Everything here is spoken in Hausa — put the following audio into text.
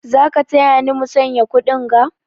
Za ka taya ni musanya kuɗinga?